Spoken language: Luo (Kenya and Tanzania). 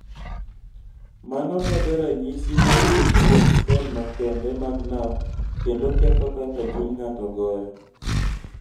Mano medo ranyisi ma wuok kuom sel makende mag nerve kendo ketho kaka chuny ng�ato goyo.